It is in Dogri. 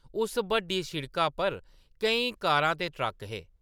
उस बड्डी सिड़का पर केईं कारां ते ट्रक्क हे ।